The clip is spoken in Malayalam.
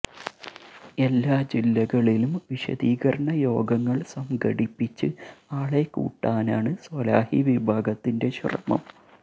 എല്ലാ ജില്ലകളിലും വിശദീകരണയോഗങ്ങള് സംഘടിപ്പിച്ച് ആളെ കൂട്ടാനാണ് സ്വലാഹി വിഭാഗത്തിന്റെ ശ്രമം